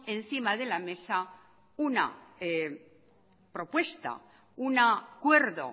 encima de la mesa una propuesta un acuerdo